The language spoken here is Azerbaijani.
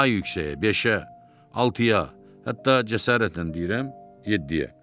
Daha yüksəyə, beşə, altıya, hətta cəsarətlə deyirəm, yeddiyə.